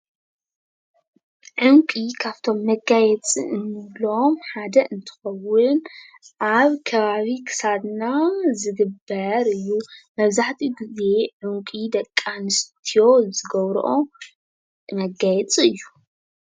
ዕንቊ ካብቶም መጋየፂ ንብሎም ሓደ እንትኸዉን አብ ከባቢ ክሳድና ዝግበር እዩ። መብዛሕትኡ ግዜ ዕንቊ ደቂ ኣንስትዮ ዝገብረኦ መጋየፂ እዩ ።